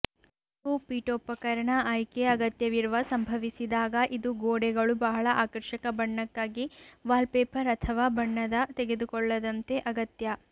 ನೀವು ಪೀಠೋಪಕರಣ ಆಯ್ಕೆ ಅಗತ್ಯವಿರುವ ಸಂಭವಿಸಿದಾಗ ಇದು ಗೋಡೆಗಳು ಬಹಳ ಆಕರ್ಷಕ ಬಣ್ಣಕ್ಕಾಗಿ ವಾಲ್ಪೇಪರ್ ಅಥವಾ ಬಣ್ಣದ ತೆಗೆದುಕೊಳ್ಳದಂತೆ ಅಗತ್ಯ